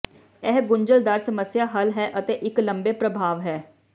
ਇਹ ਗੁੰਝਲਦਾਰ ਸਮੱਸਿਆ ਹੱਲ ਹੈ ਅਤੇ ਇੱਕ ਲੰਬੇ ਪ੍ਰਭਾਵ ਹੈ